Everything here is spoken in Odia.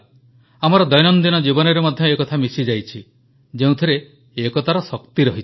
ଆମର ଦୈନନ୍ଦିନ ଜୀବନରେ ମଧ୍ୟ ଏକଥା ମିଶିଯାଇଛି ଯେଉଁଥିରେ ଏକତାର ଶକ୍ତି ରହିଛି